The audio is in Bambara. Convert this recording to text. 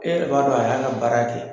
E b'a dɔn a y'a ka baara kɛ.